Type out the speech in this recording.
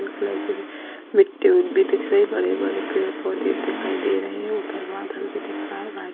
मिट्टी उ भी दिख रही है | बड़े बड़े पेड़ पौधे दिखाई दे रहे हैं ऊपर बदल भी दिख रहा है |